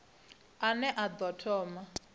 a ne a ḓo thoma